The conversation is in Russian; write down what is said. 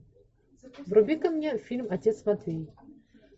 вруби ка мне фильм отец матвей